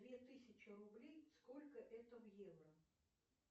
две тысячи рублей сколько это в евро